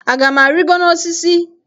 Aga m arịgo n'osisi?